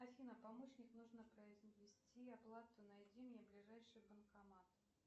афина помощник нужно произвести оплату найди мне ближайший банкомат